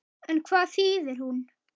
En hvað þýðir hún?